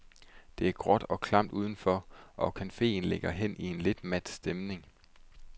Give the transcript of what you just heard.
Det er gråt og klamt uden for, og cafeen ligger hen i en lidt mat stemning.